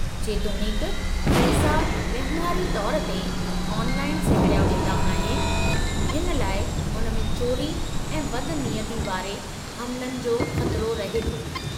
जेतोणीकु पैसा वहिंवारी तौर ते ऑनलाइन सहेड़िया वेंदा आहिनि, हिन लइ हुन में चोरी ऐं बदनियती वारे हमलनि जो ख़तरो रहे थो।